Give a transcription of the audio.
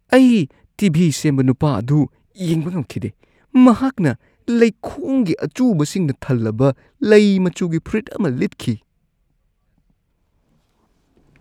ꯑꯩ T. V. ꯁꯦꯝꯕ ꯅꯨꯄꯥ ꯑꯗꯨ ꯌꯦꯡꯕ ꯉꯝꯈꯤꯗꯦ꯫ ꯃꯍꯥꯛꯅ ꯂꯩꯈꯣꯝꯒꯤ ꯑꯆꯨꯕꯁꯤꯡꯅ ꯊꯜꯂꯕ ꯂꯩ ꯃꯆꯨꯒꯤ ꯐꯨꯔꯤꯠ ꯑꯃ ꯂꯤꯠꯈꯤ꯫